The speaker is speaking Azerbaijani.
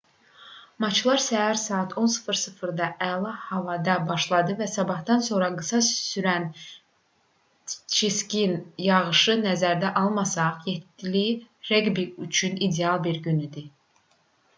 maçlar səhər saat 10:00-da əla havada başladı və sabahdan sonra qısa sürən çiskin yağışı nəzərə almasaq 7-li reqbi üçün ideal bir gün idi